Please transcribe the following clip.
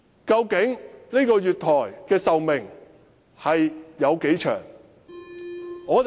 究竟這個月台的壽命有多長？